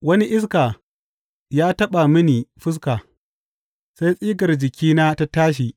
Wani iska ya taɓa mini fuska, sai tsigar jikina ta tashi.